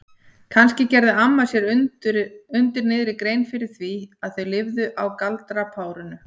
Kannski gerði amma sér undir niðri grein fyrir því að þau lifðu á galdrapárinu?